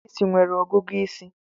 Ndị ìsì nwere ọgụgụ isi